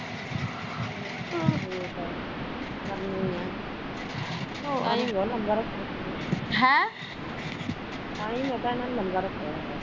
ਹੋਰ ਦੱਸ ਗਰਮੀ ਆ ਲਗਾ ਹੁਣਾ ਲੰਗਰ ਉੱਥੇ ਲਗਾ ਹੁਣਾ ਲੰਗਰ ਉੱਥੇ